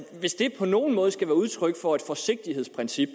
hvis det på nogen måde skal være udtryk for et forsigtighedsprincip